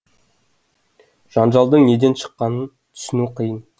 жанжалдың неден шыққанын түсіну қиын